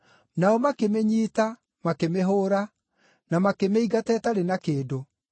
Nao makĩmĩnyiita makĩmĩhũũra, na makĩmĩingata ĩtarĩ na kĩndũ.